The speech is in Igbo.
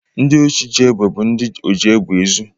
Ndị osi ji egbe bụ ndi oji egbe ezu.